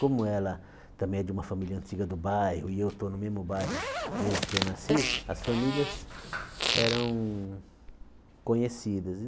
Como ela também é de uma família antiga do bairro e eu estou no mesmo bairro desde que eu nasci, as famílias eram conhecidas.